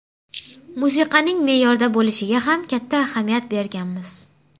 Musiqaning me’yorda bo‘lishiga ham katta ahamiyat berganmiz.